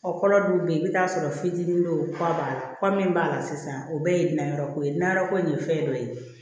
Ɔ kɔlɔ dun bɛ yen i bɛ t'a sɔrɔ fitinin dɔ kura b'a la kura min b'a la sisan o bɛɛ ye nayɔrɔ ko ye na yɔrɔ ko in ye fɛn dɔ ye